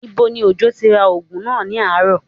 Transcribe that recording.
Níbo ni Òjó ti ra oògùn náà ní àárọ̀?